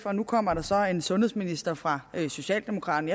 og nu kommer der så en sundhedsminister fra socialdemokraterne